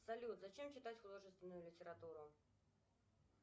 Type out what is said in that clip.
салют зачем читать художественную литературу